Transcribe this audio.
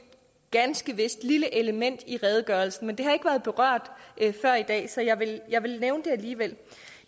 ganske vist lille element i redegørelsen men det har ikke været berørt før i dag så jeg vil nævne det alligevel